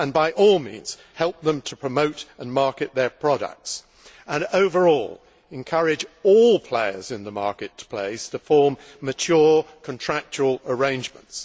and by all means help them to promote and market their products and, overall, encourage all players in the marketplace to form mature, contractual arrangements.